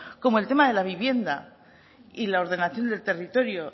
como el tema de la vivienda y la ordenación del territorio